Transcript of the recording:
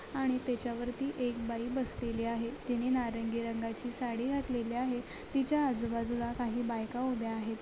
आणि त्याच्यावरती एक बाई बसलेली आहे तिने नारंगी रंगाची साडी घातलेली आहे तिच्या आजू बाजूला काही बायका उभ्या आहेत